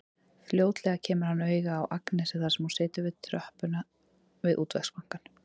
Fljótlega kemur hann auga á Agnesi þar sem hún situr á tröppunum við Útvegsbankann.